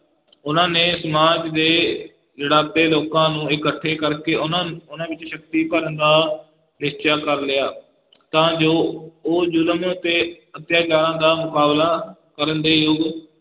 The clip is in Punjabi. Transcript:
ਉਨ੍ਹਾਂ ਨੇ ਸਮਾਜ ਦੇ ਲਿਤਾੜੇ ਲੋਕਾਂ ਨੂੰ ਇਕੱਠੇ ਕਰਕੇ ਉਹਨਾਂ, ਉਹਨਾਂ ਵਿਚ ਸ਼ਕਤੀ ਭਰਨ ਦਾ ਨਿਸ਼ਚਾ ਕਰ ਲਿਆ ਤਾਂ ਜੋ ਉਹ ਜ਼ੁਲਮ ਅਤੇ ਅਤਿਆਚਾਰਾਂ ਦਾ ਮੁਕਾਬਲਾ ਕਰਨ ਦੇ ਯੋਗ,